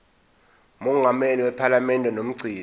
mongameli wephalamende nomgcini